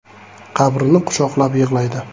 Qabrni quchoqlab yig‘laydi.